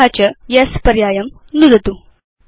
तत च येस् पर्यायं नुदतु